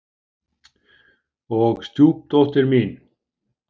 Og stjúpdóttir mín.